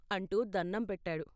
" అంటూ దణ్ణం పెట్టాడు.